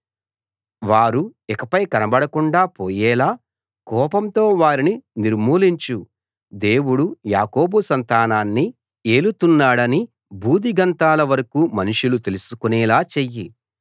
వారు ఇకపై కనబడకుండా పోయేలా కోపంతో వారిని నిర్మూలించు దేవుడు యాకోబు సంతానాన్ని ఏలుతున్నాడని భూదిగంతాల వరకూ మనుషులు తెలుసుకునేలా చెయ్యి